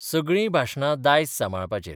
सगळीं भाशणां दायज सांबाळपाचेर.